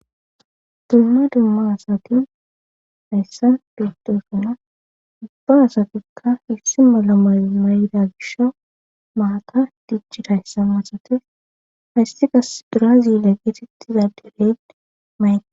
dumma dumma asati hayssan biittoyssuna ubba asatikka issi malamay may7da gisha mahaka dijjidayssama asatis haystigas braazile geetettiza deleed mayqi